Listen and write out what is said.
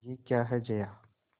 यह क्या है जया